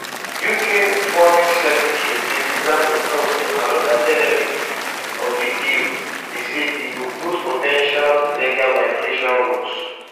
uk foreign secretary david lammy tok say anoda benefit of di deal be say e go close po ten tial illegal migration route